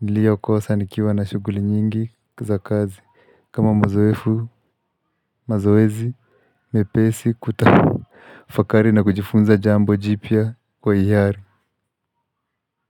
nilio kosa nikiwa na shughuli nyingi za kazi kama mazoefu mazoezi mepesi kutafakari na kujifunza jambo jipya kwa hiari.